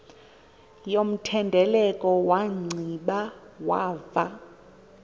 yomthendeleko wanciba wava